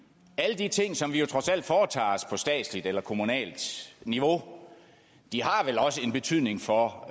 alle de ting som man trods alt foretager sig på statsligt og kommunalt niveau har vel også betydning for